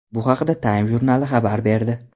Bu haqda Time jurnali xabar berdi.